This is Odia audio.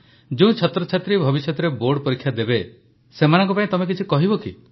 ଯେଉଁ ଛାତ୍ରଛାତ୍ରୀ ଭବିଷ୍ୟତରେ ବୋର୍ଡ ପରୀକ୍ଷା ଦେବେ ସେମାନଙ୍କ ପାଇଁ ତମେ କିଛି କହିବ କି